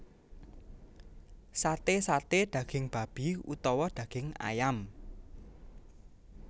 Sate saté daging babi utawa daging ayam